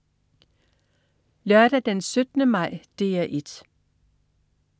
Lørdag den 17. maj - DR 1: